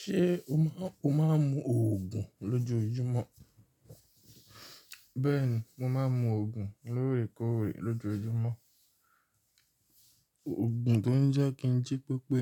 Ṣé o máa, o máa ń mu òògùn lójoojúmọ́? Bẹ́ẹ̀ni, mo máa ń mu òògùn lóòrèkóòrè lójoojúmọ́. Òògùn tó ń jẹ́ kí n jí pépé.